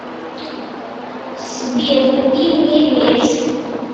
сбер купи мне мерс